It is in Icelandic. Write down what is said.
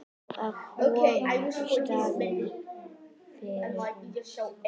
Að koma í staðinn fyrir hann?